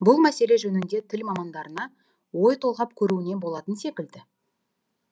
бұл мәселе жөнінде тіл мамандарына ой толғап көруіне болатын секілді